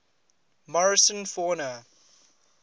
morrison fauna